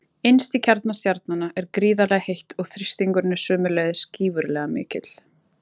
Innst í kjarna stjarnanna er gríðarlega heitt og þrýstingurinn er sömuleiðis gífurlega mikill.